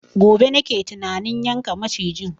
Gobe nake tunanin yanka macijin